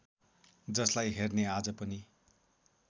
जसलाई हेर्ने आज पनि